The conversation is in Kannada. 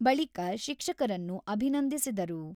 ಬಳಿಕ ಶಿಕ್ಷಕರನ್ನು ಅಭಿನಂದಿಸಿದರು.